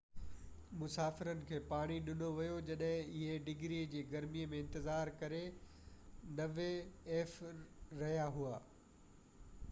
مسافرن کي پاڻي ڏنو ويو جڏهن اهي 90f-ڊگري جي گرمي ۾ انتظار ڪري رهيا هئا